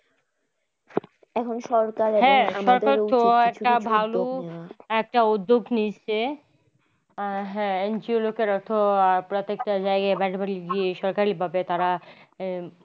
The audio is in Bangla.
এখন সরকার ভালো একটা উদ্যোগ নিচ্ছে হ্যা NGO লোকেরা তো প্রত্যেকটা জায়গায় বাড়ি বাড়ি গিয়ে সরকারি ভাবে তারা এর